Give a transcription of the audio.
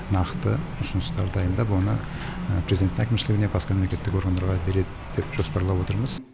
нақты ұсыныстар дайындап оны президенттің әкімшілігіне басқа мемлекеттік органдарға береді деп жоспарлап отырмыз